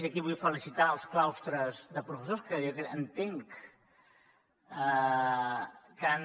i aquí vull felicitar els claustres de professors que jo entenc que han